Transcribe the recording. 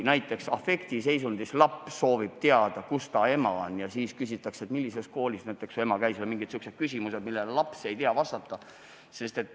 Näiteks afektiseisundis laps soovib teada, kus ta ema on, ja temalt küsitakse, mis koolis su ema käis, või mingid muud sellised küsimused, millele laps ei tea vastata.